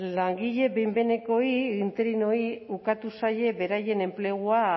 langile behin behinekoei interinoei ukatu zaie beraien enplegua